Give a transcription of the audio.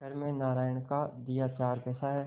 घर में नारायण का दिया चार पैसा है